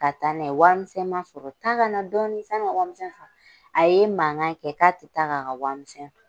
Ka taa n'a ye, warimisɛn ma sɔrɔ. Taa kana dɔɔni sani ŋa warimisɛn sɔrɔ. A ye mankan kɛ k'a te taa k'a ka warimisɛn to.